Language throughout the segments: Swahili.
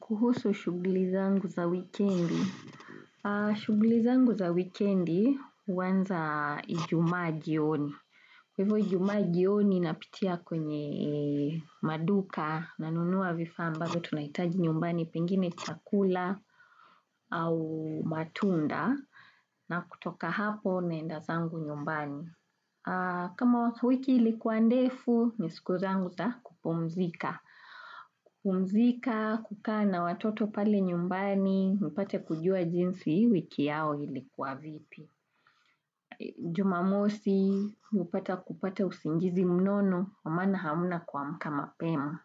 Kuhusu shugli zangu za wikendi. Shugli zangu za wikendi uwanza ijumaa jioni. Hivyo ijumaji yoni napitia kwenye maduka nanunuwa vifaa ambavyo tunaitaji nyumbani pengine chakula au matunda na kutoka hapo na enda zangu nyumbani. Kama wiki ilikuwa ndefu, nisikuzangu za kupumzika kupumzika, kukana watoto pale nyumbani, nipate kujua jinsi wiki yao ilikuwa vipi Jumamosi, nipata kupata usingizi mnono, kwa mana hamuna kuwa mka mapema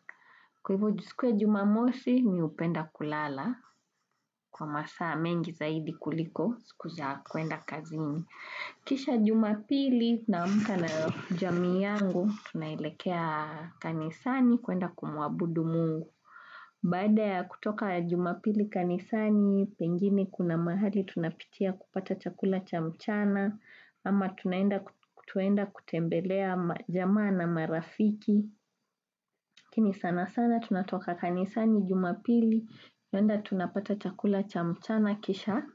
Kwa hivyo siku ya jumamosi, mi upenda kulala kwa masaa mengi zaidi kuliko, sikuja kwenda kazini Kisha jumapili na mka na jamii yangu, tunailekea kanisani kuenda kumwabudu mungu. Bada ya kutoka jumapili kanisani, pengini kuna mahali tunapitia kupata chakula chamchana, ama tuenda kutembelea majama na marafiki. Kini sana sana, tunatoka kanisani jumapili, tunaenda tunapata chakula cha mchana kisha,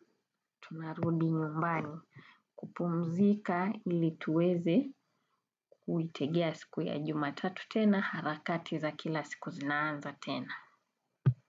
tunarudi nyumbani kupumzika ili tuweze kuitegea siku ya jumatatu tena, harakati za kila siku zinanza tena.